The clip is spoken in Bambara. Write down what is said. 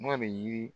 N'a bɛ yiri